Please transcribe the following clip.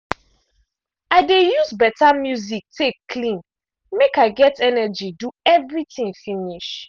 i de use better music take clean mek i get energy do everything finish.